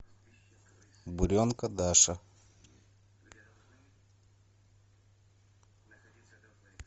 буренка даша